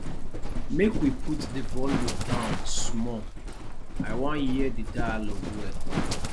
make we put di volume down small i wan hear di dialogue well